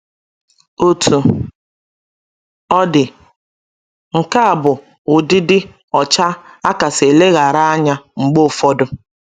Otú ọ dị, nke a bụ ụdị ịdị ọcha a kasị eleghara anya mgbe ụfọdụ